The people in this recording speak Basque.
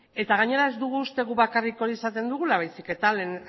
eta gainera ez dugu uste gu bakarrik hori esaten dugula baizik eta lehen